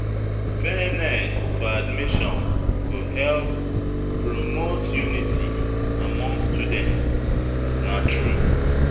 Fairness for admissions go help promote unity among students, na true.